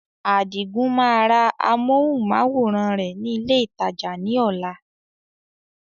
Adigun máa ra amohùn-máwórán rẹ ni ilé ìtajà ni ọ̀la.